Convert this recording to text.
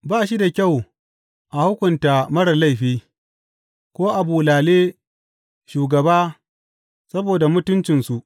Ba shi da kyau a hukunta marar laifi, ko a bulale shugaba saboda mutuncinsu.